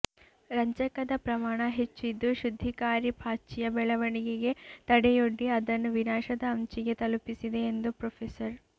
ರಂಜಕದ ಪ್ರಮಾಣ ಹೆಚ್ಚಿದ್ದು ಶುದ್ದಿಕಾರಿ ಪಾಚಿಯ ಬೆಳವಣಿಗೆಗೆ ತಡೆಯೊಡ್ಡಿ ಅದನ್ನು ವಿನಾಶದ ಅಂಚಿಗೆ ತಲುಪಿಸಿದೆ ಎಂದು ಪ್ರೊ